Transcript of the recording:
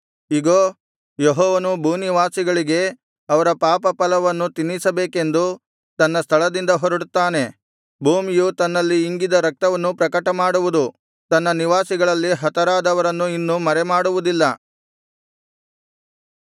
ಇಗೋ ಯೆಹೋವನು ಭೂನಿವಾಸಿಗಳಿಗೆ ಅವರ ಪಾಪ ಫಲವನ್ನು ತಿನ್ನಿಸಬೇಕೆಂದು ತನ್ನ ಸ್ಥಳದಿಂದ ಹೊರಡುತ್ತಾನೆ ಭೂಮಿಯು ತನ್ನಲ್ಲಿ ಇಂಗಿದ್ದ ರಕ್ತವನ್ನು ಪ್ರಕಟಮಾಡುವುದು ತನ್ನ ನಿವಾಸಿಗಳಲ್ಲಿ ಹತರಾದವರನ್ನು ಇನ್ನು ಮರೆಮಾಡುವುದಿಲ್ಲ